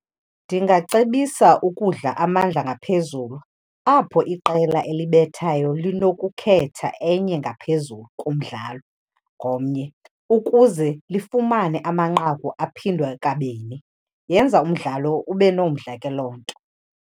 Ndingacebisa ukudla amandla ngaphezulu apho iqela elibethayo linokukhetha enye ngaphezulu kumdlalo komnye, ukuze lifumane amanqaku aphindwe kabini. Yenza umdlalo ube nomdla ke loo nto.